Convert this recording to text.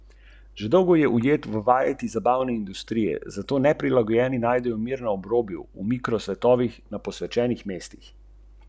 Zaradi številnih stičnih točk med združenjema so se dogovorili, da bi lahko nekatere aktivnosti izvajali skupaj, na primer pri prireditvah, promociji, strategiji trženja in kandidiranju na razpisih za sredstva.